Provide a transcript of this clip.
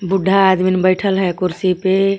बुड्ढा आदमिन बैठल हे कुर्सी पे.